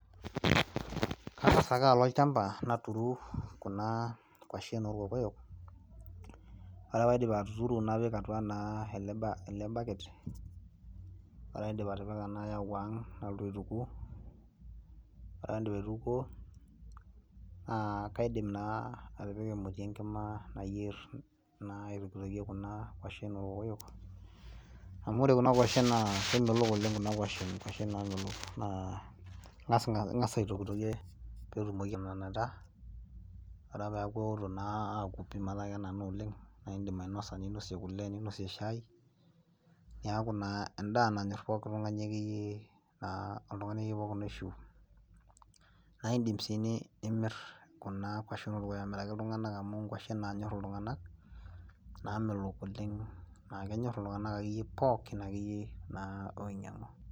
Kangas ake alo olchamba naturu kuna kwashen oolkokoyo, ore ake paidip atuturu napik atua naa ele baket, ore ake paidip atipika nayau aang' nalotu aituku, ore ake paidip aitukuo, naa kaidim naa atipika emoti enkima nayier aitokikitokie naa kuna kwashen oolkokoyo, amu ore kuna kwashen naa kemelok oleng' kuna kwashen inkuashen kuna namelok naa inkas aitokikitokie peetumoki atananita. Ore ake peeku eotok metaa kenana oleng' naa iidim ainosa ninosie kule, ninosie shai. Neeku endaa nanyor pookin tungani akeyei aishu. Naa iidim sii nimir kuna kwashen oolkokoyo amiraki iltunganak amu inkuashen naanyor iltunganak naamelok oleng',naa kenyor pookin akeyei naa onyianku.